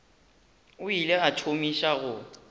o ile a thomiša go